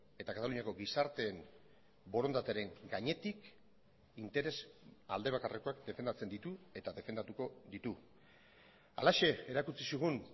eta kataluniako gizarteen borondatearen gainetik interes aldebakarrekoak defendatzen ditu eta defendatuko ditu halaxe erakutsi zigun